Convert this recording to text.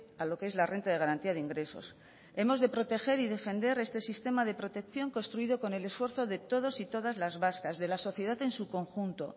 a lo qué es la renta de garantía de ingresos hemos de proteger y defender este sistema de protección construido con el esfuerzo de todos y todas las vascas de la sociedad en su conjunto